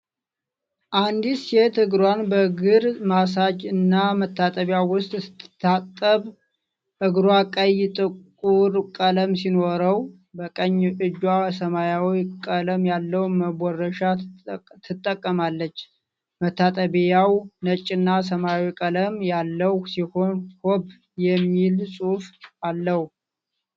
አንዲት ሴት እግሯን በእግር ማሳጅ እና መታጠቢያ ውስጥ ስትታጠብ ። እግሯ ቀይ ጥፍር ቀለም ሲኖረው፣ በቀኝ እጇ ሰማያዊ ቀለም ያለው መቦረሻ ትጠቀማለች። መታጠቢያው ነጭና ሰማያዊ ቀለም ያለው ሲሆን፣ "ሆብ" የሚል ጽሑፍ አለው።